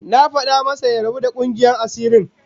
Na fada masa ya rabu da kungiyar asirin